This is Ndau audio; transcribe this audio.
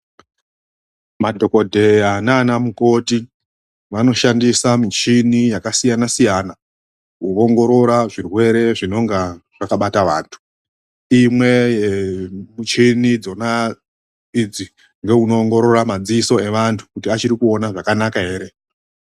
Madhokodheya nanamukoti vanoshandisa michini yakasiyana siyana kuongorora zvirwere zvinenge zvakabata vantu imwe yemuchini dzona idzi ndounoongorora madziso evantu kuti achiri kuona zvakanaka here